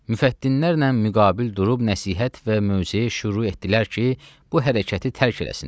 Müfəttinlərlə müqabil durub nəsihət və möcəyə şüru etdilər ki, bu hərəkəti tərk eləsinlər.